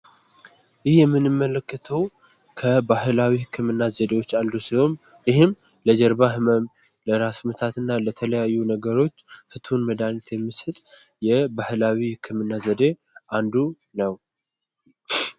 ይሄ ምንመለከተው ከባህላዊ የህክምና ዘዴዎች ውስጥ አንዱ ሲሆን ይህም ለጀርባ ህመም ለራስ ምታትና ለትኩሳት እና ለተለያዩ ነገሮች ፍቱን መድሃኒት የሚሰጥ የባህላዊ ህክምና ዘዴ አንዱ ነው።